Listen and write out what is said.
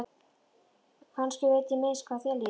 Kannski veit ég minnst hvað þér líður.